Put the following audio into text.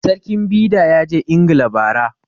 Sarkin Bida ya je ingila ba ra